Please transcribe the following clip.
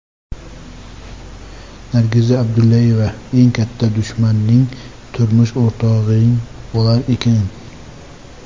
Nargiza Abdullayeva: Eng katta dushmaning turmush o‘rtog‘ing bo‘lar ekan.